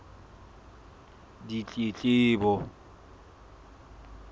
ditletlebo